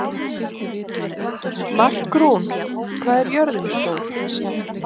Markrún, hvað er jörðin stór?